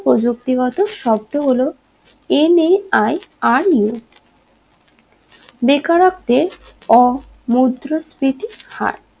প্রযুক্তিগত শব্ধ হলো m a i r u বেকারত্বে অ মুদ্রাস্ফীতির হার